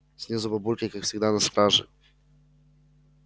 снизу бабульки как всегда на страже